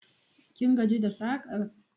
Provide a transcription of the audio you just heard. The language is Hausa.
Kin gaji da sakar?